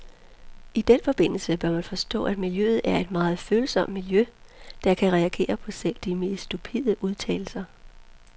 I den forbindelse bør man forstå, at miljøet er et meget følsomt miljø, der kan reagere på selv de mest stupide udtalelser.